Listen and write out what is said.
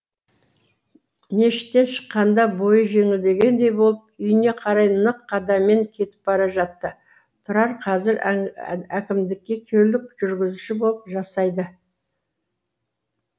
мешіттен шыққанда бойы жеңілдегендей болып үйіне қарай нық қадаммен кетіп бара жатты тұрар қазір әкімдікте көлік жүргізушісі болып жасайды